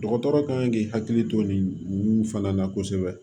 Dɔgɔtɔrɔ kan k'i hakili to nin fana na kosɛbɛ